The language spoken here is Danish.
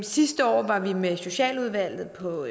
sidste år var vi med socialudvalget på